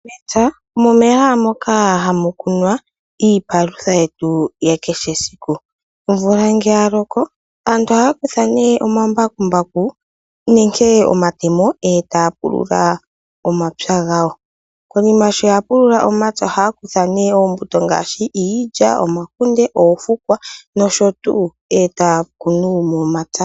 Mepya omo mehala moka hamu kunwa iipalutha yetu ya kehe esiku. Omvula ngele yaloko aantu ohaya kutha omambakumbaku nenge omatemo etaya pulula omapya gawo. Konima shoya pulula omapya ohaya kutha nee oombuto ngaashi iilya, omakunde, oofukwa nosho tuu etaya kunu momapya.